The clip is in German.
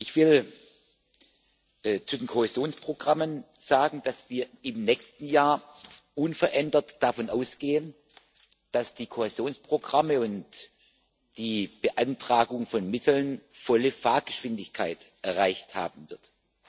Ich will zu den Kohäsionsprogrammen sagen, dass wir im nächsten Jahr unverändert davon ausgehen, dass die Kohäsionsprogramme und die Beantragung von Mitteln volle Fahrgeschwindigkeit erreicht haben werden.